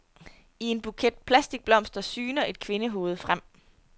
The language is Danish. I en buket plastikblomster syner et kvindehoved frem.